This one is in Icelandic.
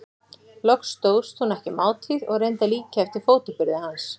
Loks stóðst hún ekki mátið og reyndi að líkja eftir fótaburði hans.